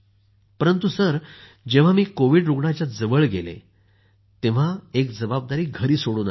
परंतु जेंव्हा मी कोविड रूग्णाच्या जवळ गेले तेंव्हा एक जबाबदारी घरी सोडून आले